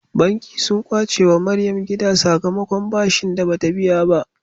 Banki sun kwace wa maryam gida sakamakon bashin da bata biya ba